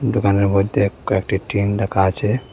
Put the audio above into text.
দোকানের মইধ্যে কয়েকটি টিন রাখা আছে।